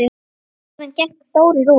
Síðan gekk Þórir út.